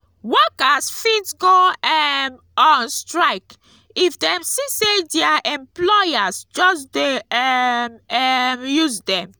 workers fit go um on strike if dem see say their employers just de um um use dem